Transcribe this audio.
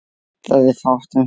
Það er fátt um svör.